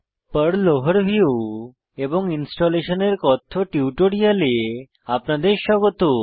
pearl overview এবং installation এর কথ্য টিউটোরিয়ালে আপনাদের স্বাগত